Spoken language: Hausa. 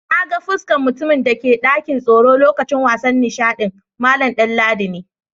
Na gan fuskan mutumin da ke dakin tsoro lokacin wasan nishadin, Mallam Danladi ne.